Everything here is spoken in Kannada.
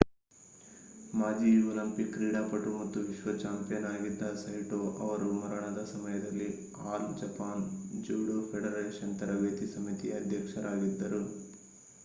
ಮಾಜಿ ಒಲಿಂಪಿಕ್ ಕ್ರೀಡಾಪಟು ಮತ್ತು ವಿಶ್ವ ಚಾಂಪಿಯನ್ ಆಗಿದ್ದ ಸೈಟೊ ಅವರು ಮರಣದ ಸಮಯದಲ್ಲಿ ಆಲ್ ಜಪಾನ್ ಜೂಡೋ ಫೆಡರೇಶನ್ ತರಬೇತಿ ಸಮಿತಿಯ ಅಧ್ಯಕ್ಷರಾಗಿದ್ದರು